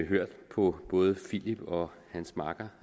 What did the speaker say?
hørt på både philip og hans makker